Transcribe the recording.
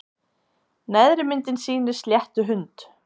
Neðri myndin sýnir sléttuhund.